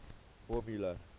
formula